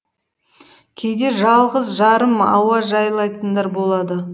кейде жалғыз жарым ауа жайылатындар болады